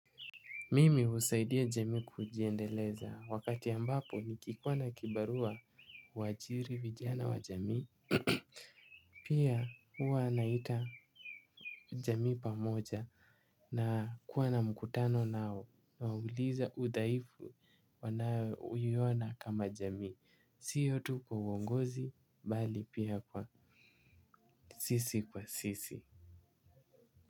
Mimi husaidia jamii kujiendeleza wakati ambapo nikikuwa na kibarua huajiri vijana wa jamii. Pia huwa naita jamii pamoja na kuwa na mkutano nao uliza udhaifu wanayoona kama jamii siyo tu kwa uongozi bali pia sisi kwa sisi.